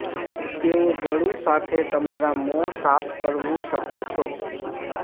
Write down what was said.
તેઓ ગળું સાથે તમારા મોં સાફ કરવું શકો છો